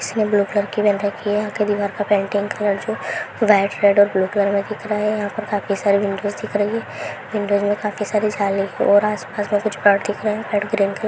इसमे blue colour की रखी है यहां के दीवार का व्हाइट रेड और ब्लू कलर के दिख रहे हैं यहां पर काफी सारे विंडोज दिख रहे हैं विंडोज मे काफी सारे जली हो रहे है